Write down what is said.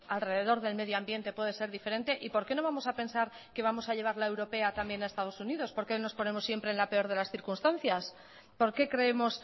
alrededor del medio ambiente puede ser diferente y por qué no vamos a pensar que vamos a llevar la europea también a estados unidos por qué nos ponemos siempre en la peor de las circunstancias por qué creemos